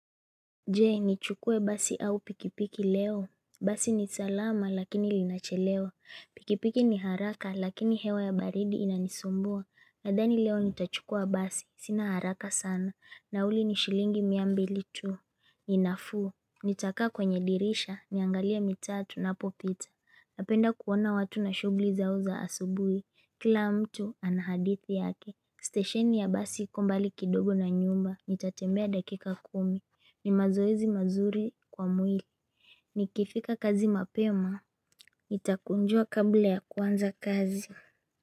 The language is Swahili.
Je nichukue basi au pikipiki leo Basi ni salama lakini linachelewa Pikipiki ni haraka lakini hewa ya baridi inanisumbua Nadhani leo nitachukua basi sina haraka sana Nauli ni shilingi mia mbili tu ni nafuu Nitakaa kwenye dirisha niangalie mitaa tunapopita Napenda kuona watu na shughuli zao za asubuhi Kila mtu ana hadithi yake Stesheni ya basi iko mbali kidogo na nyumba Nitatembea dakika kumi ni mazoezi mazuri kwa mwili Nikifika kazi mapema takunjua kabla ya kuanza kazi.